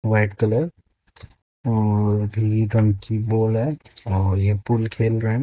White colour और भी रंग की बोल हैं और ये खेल रहें हैं।